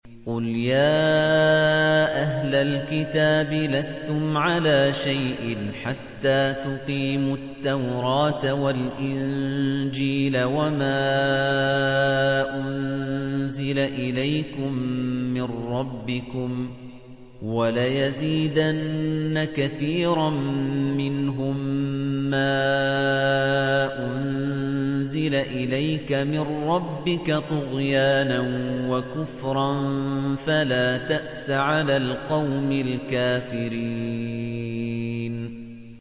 قُلْ يَا أَهْلَ الْكِتَابِ لَسْتُمْ عَلَىٰ شَيْءٍ حَتَّىٰ تُقِيمُوا التَّوْرَاةَ وَالْإِنجِيلَ وَمَا أُنزِلَ إِلَيْكُم مِّن رَّبِّكُمْ ۗ وَلَيَزِيدَنَّ كَثِيرًا مِّنْهُم مَّا أُنزِلَ إِلَيْكَ مِن رَّبِّكَ طُغْيَانًا وَكُفْرًا ۖ فَلَا تَأْسَ عَلَى الْقَوْمِ الْكَافِرِينَ